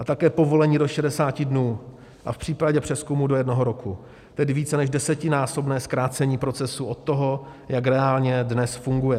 A také povolení do 60 dnů a v případě přezkumu do jednoho roku, tedy více než desetinásobné zkrácení procesu od toho, jak reálně dnes funguje.